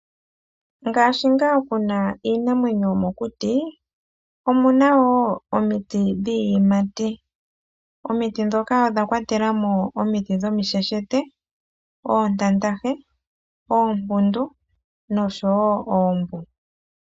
Ngaashi ngaa puna iinamwenyo yo mokuti omuna wo omiti dhiiyimati. Omiti ndhoka odha kwa te lamo omiti dhomisheshete, oontandahe, oompundu no showo oombu.